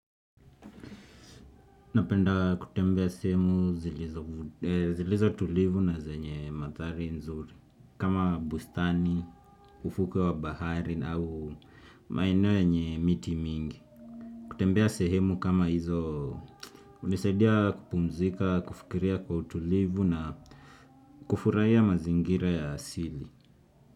Napenda kutembea sehemu zilizo tulivu na zenye mathari nzuri, kama bustani, ufuke wa bahari na au maeneo yenye miti mingi. Kutembea sehemu kama hizo unisaidia kupumzika, kufikiria kwa tulivu na kufuraia mazingira ya asili.